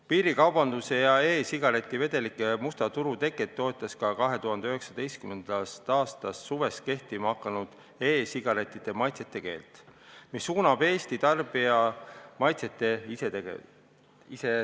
Piirikaubanduse ja e-sigareti vedelike musta turu teket toetas ka 2019. aasta suvel kehtima hakanud e-sigarettide maitsete keeld, mis suunab Eesti tarbija maitsete ise segamisele.